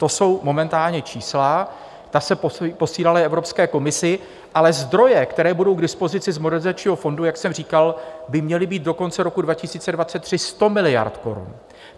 To jsou momentálně čísla, ta se posílala Evropské komisi, ale zdroje, které budou k dispozici z Modernizačního fondu, jak jsem říkal, by měly být do konce roku 2023 100 miliard korun.